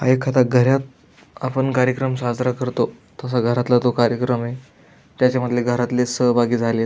हा एखादा घरात आपण कार्यक्रम साजरा करतो तसा घरातला तो कार्यक्रमय त्याच्यामधले घरातले सहभागी झालेत.